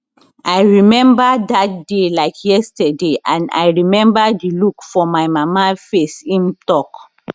i remember dat day like yesterday and i remember di look for my mama face im tok